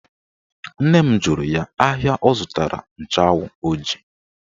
Nne m jụrụ ya ahịa ọ zụtara nchụanwụ ọ ji